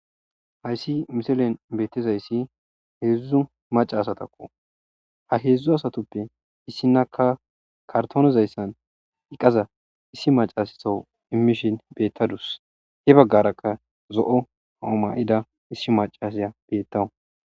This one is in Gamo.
hayssi misilen beettezayssi heedzdzu maca asatakko ha heedzdzu asatoppe issinaka kartoonizayssan iqaza issi macassowu immishin beettadus he baggarakka zo7o hauma7ida issi macasya bettawu